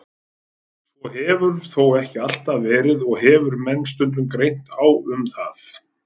Svo hefur þó ekki alltaf verið og hefur menn stundum greint á um það.